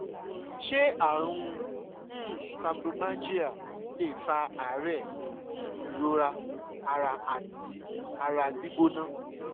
ṣé àrùn um fibromyalgia lè fa àárẹ̀ ìrora ara àti ara gbígbóná?